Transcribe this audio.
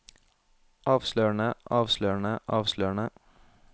avslørende avslørende avslørende